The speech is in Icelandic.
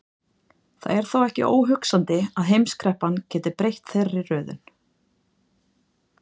Það er þó ekki óhugsandi að heimskreppan geti breytt þeirri röðun.